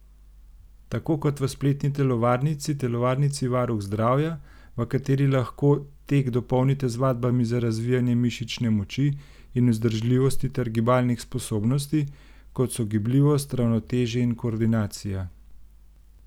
Tako kot v spletni telovadnici telovadnici Varuh zdravja, v kateri lahko tek dopolnite z vadbami za razvijanje mišične moči in vzdržljivosti ter gibalnih sposobnosti, kot so gibljivost, ravnotežje in koordinacija.